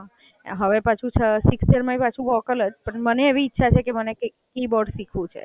હવે પાછું sixth year માંય પાછું વોકલ જ પણ મને એવી ઈચ્છા છે કે મને કીબોર્ડ શીખવું છે.